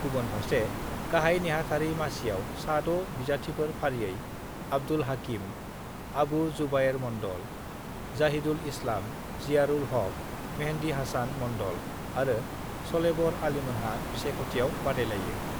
गुबुन फारसे गाहाइ नेहाथारि मासियाव सा 6 बिजाथिफोर फारियै-आब्दुल हाकिम, आबु जुबायेर मन्डल, जाहिदुल इस्लाम, जियारुल हक, मेहदि हासान मन्डल आरो शलेबर आलीमोनहा बिसायख'थियाव बादायलायो।